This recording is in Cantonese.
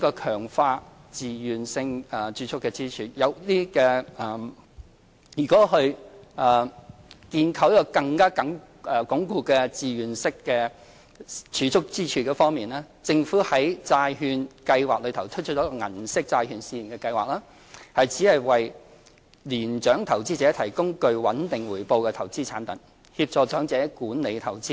強化自願性儲蓄支柱在建構更穩固的自願性儲蓄支柱方面，政府在債券計劃下推出銀色債券試驗計劃，旨在為年長投資者提供具穩定回報的投資產品，協助長者管理投資。